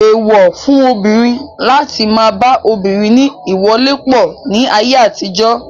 Èèwọ̀ fún obìnrin láti má a ba obìnrin ní ìwọlépọ̀ ní ayé àtijọ́.